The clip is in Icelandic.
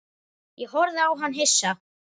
Ég horfði á hann hissa.